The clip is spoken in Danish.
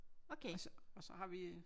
Og så og så har vi